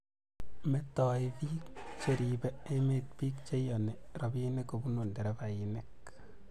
metoi biik cheribe emet biik cheiyoni robinik kobunu nderefainik